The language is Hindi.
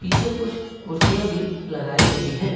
पीछे कुछ कुर्सियां भी लगाई गई है।